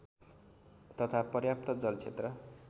तथा पर्याप्त जलक्षेत्र